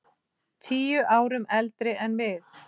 Tíu árum eldri en við.